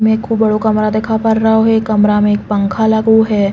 में खूब बड़ों कमरा दिखा पड़ रहो है। एक कमरा में एक पंखा लगो है।